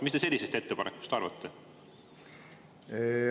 Mis te sellisest ettepanekust arvate?